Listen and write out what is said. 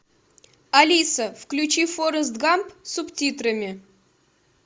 алиса включи форест гамп с субтитрами